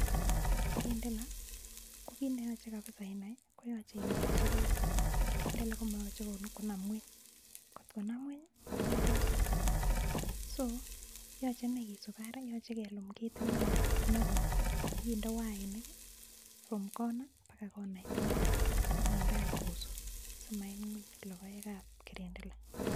Eng karindela ko kiit neyoche kapsa inai koyache inai sokat, karindele komamache konam mwei, kot konam mwei konundos so yache ine kesuup arek, yoche kelum ketit neo nekoi akinde wainik from corner mpaka corner akinde anyun kosuup simainun anyun logoekab karendela.